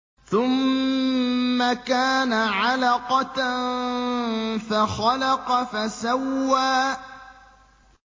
ثُمَّ كَانَ عَلَقَةً فَخَلَقَ فَسَوَّىٰ